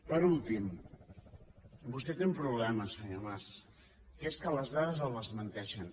per últim vostè té un problema senyor mas que és que les dades el desmenteixen